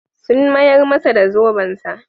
Sun mayar masa da zobensa.